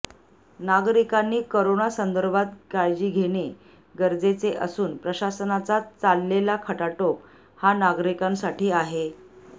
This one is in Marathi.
नागरिकांनी करोना संदर्भात काळजी घेणे गरजेचे असून प्रशासनाचा चाललेला खटाटोप हा नागरिकांसाठी आहे